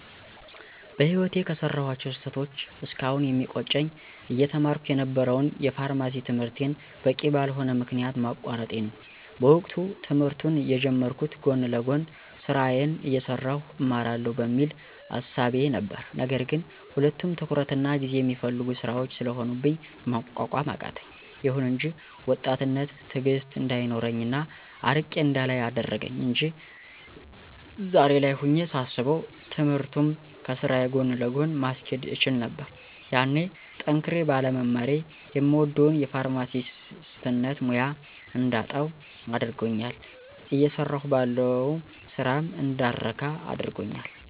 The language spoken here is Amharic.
በህይወቴ ከሰራኋቸው ስህተቶች እስካሁን የሚቆጨኝ አየተማርኩ የነበረውን የፋርማሲ ትምህርቴን በቂ በልሆነ ምክንያት ማቋረጤ ነው። በወቅቱ ትምህርቱን የጀመርኩት ጎን ለጎን ስራዬን አየሠራሁ እማረዋለሁ በሚል እሳቤ ነበር ነገር ግን ሁለቱም ትኩረትና ጊዜ የሚፈልጉ ስራዎች ስለሆኑብኝ መቋቋም አቃተኝ። ይሁን እንጂ ወጣትነት ትእግስት እንዳይኖረኝ እና አርቄ እንዳላይ አደረገኝ አንጂ ዛሬ ላይ ሆኜ ሳስበው ትምህርቱንም ከስራዬ ጎን ለጎን ማስኬድ እችል ነበር። ያኔ ጠንክሬ ባለመማሬ የምወደውን የፋርማሲነት ሙያ እንዳጣው አድርጎኛል እየሰራሁ ባለው ስራም እንዳልረካ አድርጎኛል።